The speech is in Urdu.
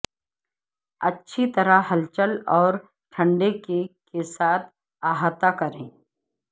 اچھی طرح ہلچل اور ٹھنڈے کیک کے ساتھ احاطہ کریں